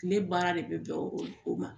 Tile baara de bɛ bɛn o ma.